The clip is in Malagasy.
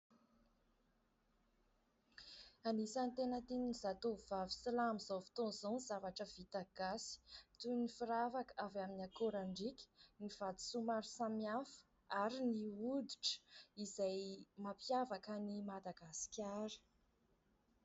Anisany tena tian'ny zatovovavy sy lahy amin'izao fotoana izao ny zavatra vita gasy toy ny firavaka avy amin'ny akorandriaka, ny vatosoa maro samihafa ary ny hoditra izay mampiavaka an'i Madagasikara.